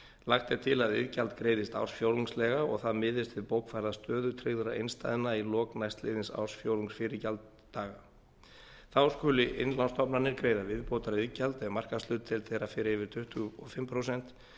lagt er til að iðgjald greiðist ársfjórðungslega og að það miðist við bókfærða stöðu tryggðra innstæðna í lok næstliðins ársfjórðungs fyrir gjalddaga þá skuli innlánsstofnanir greiða viðbótariðgjald ef markaðshlutdeild þeirra fer yfir tuttugu og fimm prósent